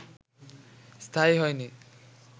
স্থায়ী হয়নি